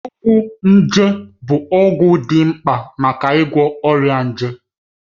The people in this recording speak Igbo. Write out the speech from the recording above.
Ọgwụ nje bụ ọgwụ dị mkpa maka ịgwọ ọrịa nje.